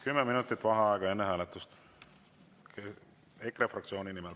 10 minutit vaheaega enne hääletust EKRE fraktsiooni nimel.